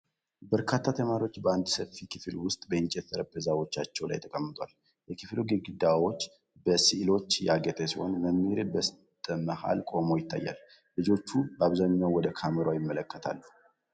በርካታ ተማሪዎች በአንድ ሰፊ ክፍል ውስጥ በእንጨት ጠረጴዛዎቻቸው ላይ ተቀምጠዋል። የክፍሉ ግድግዳዎች በስዕሎች ያጌጡ ሲሆኑ፣ መምህር በስተመሀል ቆሞ ይታያል። ልጆቹ በአብዛኛው ወደ ካሜራው ይመለከታሉ።